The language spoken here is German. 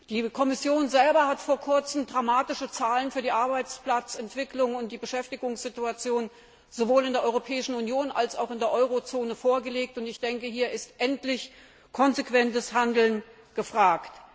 Die Kommission hat vor kurzem dramatische Zahlen für die Arbeitsplatzentwicklung und die Beschäftigungssituation sowohl in der Europäischen Union als auch in der Eurozone vorgelegt. Hier ist endlich konsequentes Handeln gefragt!